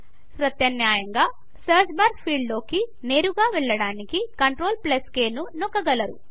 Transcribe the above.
ప్రత్యామ్నాయంగా search bar ఫీల్డ్లోకి నేరుగా వెళ్ళడానికి CTRLk ని నొక్కగలరు